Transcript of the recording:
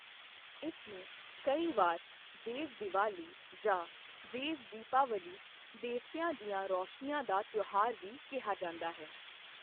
ਇਸ ਨੂੰ ਕਈ ਵਾਰ 'ਦੇਵ ਦੀਵਾਲੀ' ਜਾਂ 'ਦੇਵ ਦੀਪਾਵਾਲੀ' ਦੇਵਤਿਆਂ ਦੀਆਂ ਰੌਸ਼ਨੀਆਂ ਦਾ ਤਿਉਹਾਰ ਵੀ ਕਿਹਾ ਜਾਂਦਾ ਹੈ।